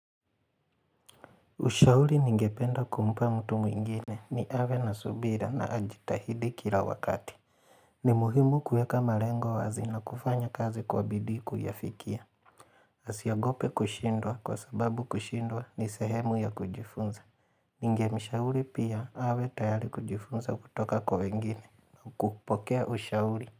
Ushauri ningependa kumpa mtu mwingine ni awe na subira na ajitahidi kila wakati. Ni muhimu kueka malengo wazi na kufanya kazi kwa bidii kuyafikia. Asiogope kushindwa kwa sababu kushindwa ni sehemu ya kujifunza. Ningemshauri pia awe tayari kujifunza kutoka kwa wengine na kupokea ushauri.